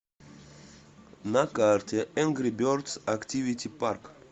на карте энгри бердс активити парк